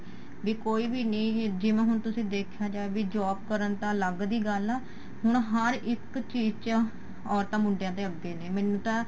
B ਕੋਈ ਵੀ ਨੀ ਜਿਵੇਂ ਹੁਣ ਤੁਸੀਂ ਦੇਖਿਆ ਜਾਏ ਵੀ job ਕਰਨ ਤਾਂ ਅੱਲਗ ਜੀ ਗੱਲ ਆ ਹੁਣ ਹਰ ਇੱਕ ਚੀਜ਼ ਚ ਔਰਤਾਂ ਮੁੰਡਿਆਂ ਦੇ ਅੱਗੇ ਨੇ ਮੈਨੂੰ ਤਾਂ